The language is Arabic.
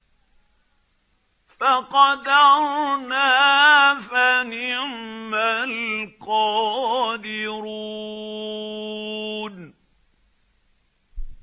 فَقَدَرْنَا فَنِعْمَ الْقَادِرُونَ